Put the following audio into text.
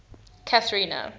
cathrina